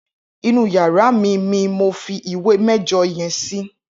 Inú iyàrá mi mi mó fi ìwé mẹjọ yèn si